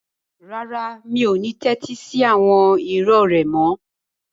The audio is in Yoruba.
Rárá, mi ò ní tẹ́tí sí àwọn irọ́ rẹ mọ́.